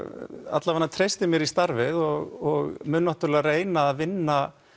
allavega treysti mér í starfið og mun náttúrulega reyna að vinna